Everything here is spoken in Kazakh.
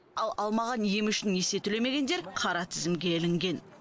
ал алмаған емі үшін несие төлемегендер қара тізімге ілінген